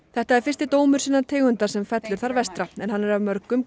þetta er fyrsti dómur sinnar tegundar sem fellur þar vestra en hann er af mörgum